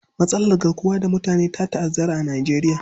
Matsalar garkuwar da mutane ta ta'azzara a Nijeriya.